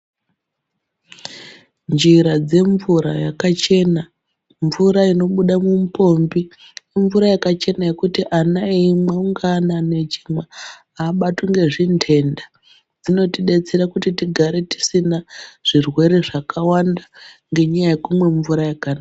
Njira dzemvura yakachena mvura inobuda mupombi imvura yakachena yekuti ana eimwa ungaa anani echimwa abatwi ngezvintenta dzinotidetsera kuti tigare tisina zvirwere zvakawanda ngenyaya yekumwa mvura yakanaka.